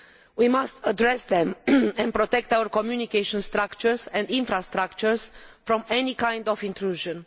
We must address them and protect our communication structures and infrastructures from any kind of intrusion.